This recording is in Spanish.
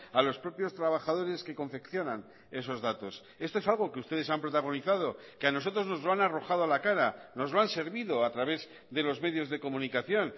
a los propios trabajadores que confeccionan esos datos esto es algo que ustedes han protagonizado que a nosotros nos lo han arrojado a la cara nos lo han servido a través de los medios de comunicación